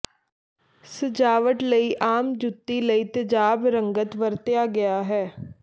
ਸਜਾਵਟ ਲਈ ਆਮ ਜੁੱਤੀ ਲਈ ਤੇਜਾਬ ਰੰਗਤ ਵਰਤਿਆ ਗਿਆ ਹੈ